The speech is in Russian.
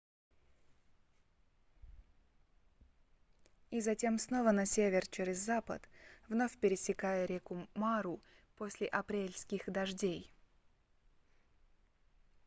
и затем снова на север через запад вновь пересекая реку мару после апрельских дождей